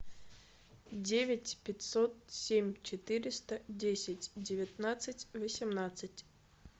девять пятьсот семь четыреста десять девятнадцать восемнадцать